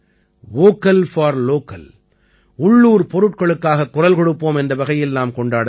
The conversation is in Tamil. வோக்கல் போர் லோக்கல் உள்ளூர் பொருட்களுக்காகக் குரல் கொடுப்போம் என்ற வகையில் நாம் கொண்டாட வேண்டும்